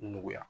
Nɔgɔya